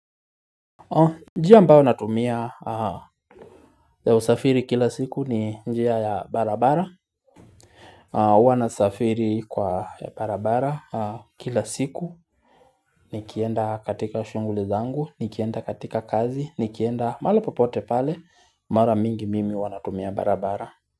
Njia ambayo natumia ya usafiri kila siku ni njia ya barabara Huwa nasafiri kwa ya barabara kila siku Nikienda katika shunguli zangu, nikienda katika kazi, nikienda maalipopote pale Mara mingi mimi huwa natumia barabara.